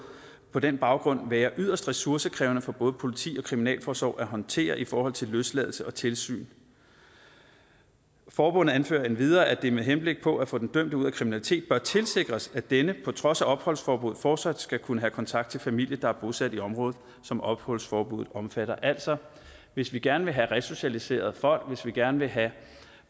på den baggrund vil være yderst ressourcekrævende for både politi og kriminalforsorg at håndtere i forhold til løsladelse og tilsyn forbundet anfører endvidere at det med henblik på at få den dømte ud af kriminalitet bør tilsikres at denne på trods opholdsforbuddet fortsat skal kunne have kontakt til familie der er bosat i området som opholdsforbuddet omfatter altså hvis vi gerne vil have resocialiseret folk hvis vi gerne vil have